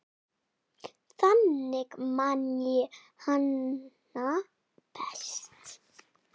Þannig man ég hana best.